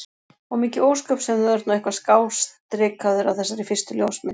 Og mikið ósköp sem þú ert nú eitthvað skástrikaður á þessari fyrstu ljósmynd.